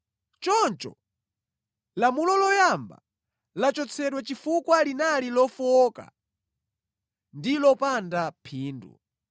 Choncho lamulo loyamba lachotsedwa chifukwa linali lofowoka ndi lopanda phindu.